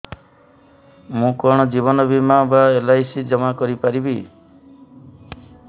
ମୁ କଣ ଜୀବନ ବୀମା ବା ଏଲ୍.ଆଇ.ସି ଜମା କରି ପାରିବି